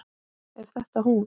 Er þetta hún?